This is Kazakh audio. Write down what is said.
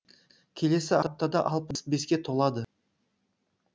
келесі аптада алпыс беске толады